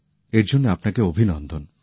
এর জন্য আপনাকে অভিনন্দন